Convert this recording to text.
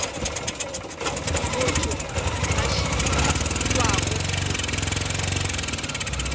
motho a šitwago go fihla